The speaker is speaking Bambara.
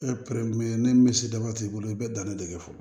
E ni misidaba t'i bolo i bɛ danni de kɛ fɔlɔ